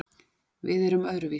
Við erum öðruvísi